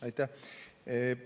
Aitäh!